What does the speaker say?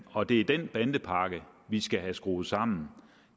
og det er den bandepakke vi skal have skruet sammen